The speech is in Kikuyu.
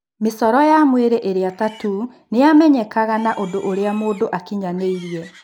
Mĩcoro ya mwĩrĩ ĩrĩa ya tattoo ni yamenyekaga na ũndũ ũrĩa mũndũ akinyanĩirie.